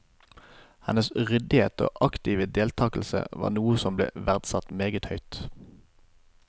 Hennes ryddighet og aktive deltagelse var noe som ble verdsatt meget høyt.